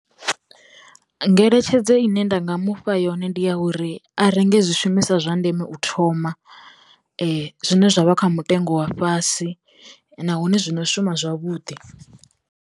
Ngeletshedzo ine nda nga mufha yone ndi ya uri a renge zwi shumiswa zwa ndeme u thoma, zwine zwa vha kha mutengo wa fhasi, nahone zwino shuma zwavhuḓi.